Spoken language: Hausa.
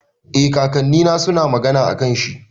Eh, kakannina suna magana akan shi.